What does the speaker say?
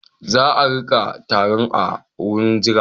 Za a riƙa tarun a wurin jira.